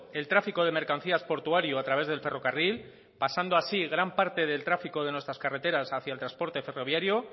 el tráfico de mercancías portuario a través del ferrocarril pasando así gran parte del tráfico de nuestras carreteras hacia el transporte ferroviario